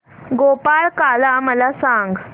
गोपाळकाला मला सांग